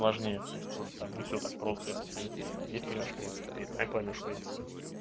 важнее то есть тоже там не все так просто если ты здесь понимаешь принципы ты и там поймёшь принципы